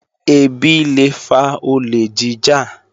Ẹbí lé fa olè jíjà